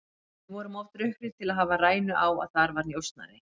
Við vorum of drukknir til að hafa rænu á að þar var njósnari.